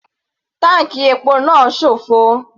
Táǹkì epo náà sófo.